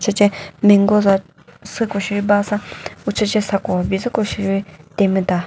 süce mango za süko sheri ba sa usüce sako bizüko sheri temüta.